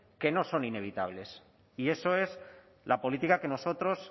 que no son inevitables y eso es la política que nosotros